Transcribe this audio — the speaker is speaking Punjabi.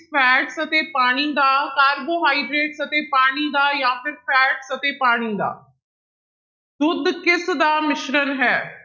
Fat ਅਤੇ ਪਾਣੀ ਦਾ, ਕਾਰਬੋਹਾਈਡ੍ਰੇਟਸ ਅਤੇ ਪਾਣੀ ਦਾ ਜਾਂ ਫਿਰ fat ਅਤੇ ਪਾਣੀ ਦਾ ਦੁੱਧ ਕਿਸਦਾ ਮਿਸ਼ਰਣ ਹੈ।